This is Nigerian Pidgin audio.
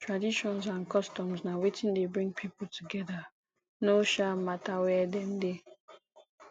traditions and customs na wetin de bring pipo together no um matter where dem de